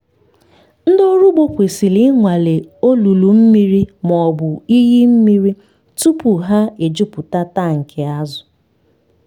ndị ọrụ ugbo kwesịrị ịnwale olulu mmiri ma ọ bụ iyi mmiri tupu ha ejupụta tankị azụ.